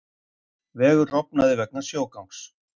Vegur rofnaði vegna sjógangs